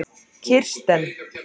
Kirsten